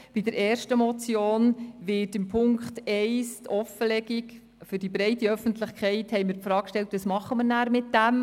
Bei der ersten Motion, die in Punkt 1 eine Offenlegung der Gelder für die breite Öffentlichkeit fordert, fragten wir uns, was mit diesen Informationen denn geschehen solle.